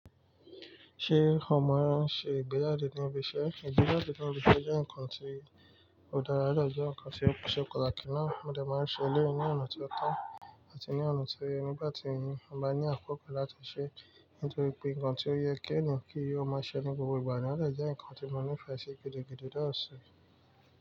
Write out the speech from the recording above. Ṣé ọ mọ ẹ ń ṣe ìgbéjàde ní ibi iṣẹ́? Ìgbéyjdìjan ní ibi iṣẹ́ jẹ́ nǹkan tí ó dára o dẹ̀ jẹ́ nǹkan tí ó ṣe pataki ínaá. Mọ́ dà máa ń ṣe elẹ́yì ní ọ̀nà ti ótọ́ àti ní ọ̀nà tó yẹ. Nígbà tí n bá ní àpò kan láti ṣẹ́ nítorí pé nǹkan tí ó yẹ kí èèyàn kí ó máa ṣẹ́ ní gbogbo ìgbà ni, o de jẹ́ nǹkan tí mo nií ìfẹ́ ṣe gidi gidi dáàṣù.